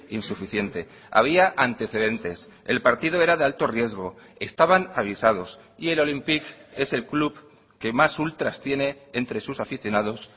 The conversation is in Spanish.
insuficiente había antecedentes el partido era de alto riesgo estaban avisados y el olympique es el club que más ultras tiene entre sus aficionados